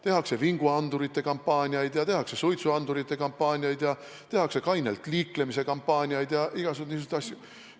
Tehakse vinguandurite kampaaniaid, tehakse suitsuandurite kampaaniaid, tehakse kainelt liiklemise kampaaniaid ja igasuguseid niisuguseid asju.